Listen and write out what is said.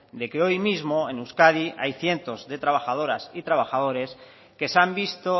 de que hoy mismo en euskadi hay cientos de trabajadoras y trabajadores que se han visto